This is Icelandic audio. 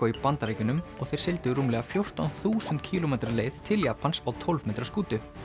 í Bandaríkjunum og þeir sigldu rúmlega fjórtán þúsund kílómetra leið til Japans á tólf metra skútu